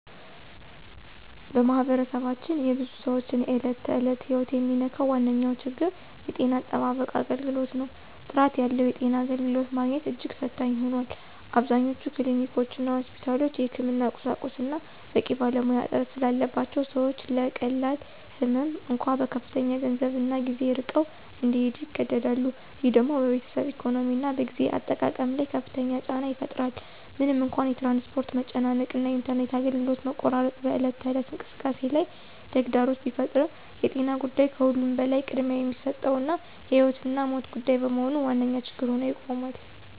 በማኅበረሰባችን የብዙ ሰዎችን የዕለት ተዕለት ሕይወት የሚነካው ዋነኛው ችግር የጤና አጠባበቅ አገልግሎት ነው። ጥራት ያለው የጤና አገልግሎት ማግኘት እጅግ ፈታኝ ሆኗል። አብዛኞቹ ክሊኒኮችና ሆስፒታሎች የሕክምና ቁሳቁስና በቂ ባለሙያ እጥረት ስላለባቸው ሰዎች ለቀላል ህመም እንኳ በከፍተኛ ገንዘብና ጊዜ ርቀው እንዲሄዱ ይገደዳሉ። ይህ ደግሞ በቤተሰብ ኢኮኖሚና በጊዜ አጠቃቀም ላይ ከፍተኛ ጫና ይፈጥራል። ምንም እንኳ የትራንስፖርት መጨናነቅ እና የኢንተርኔት አገልግሎት መቆራረጥ በዕለት ተዕለት እንቅስቃሴ ላይ ተግዳሮት ቢፈጥሩም የጤና ጉዳይ ከሁሉም በላይ ቅድሚያ የሚሰጠውና የሕይወትና ሞት ጉዳይ በመሆኑ ዋነኛ ችግር ሆኖ ይቆማል።